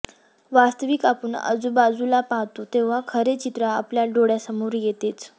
वास्तविक आपण आजूबाजूला पाहतो तेव्हा खरे चित्र आपल्या डोळ्यासमोर येतेच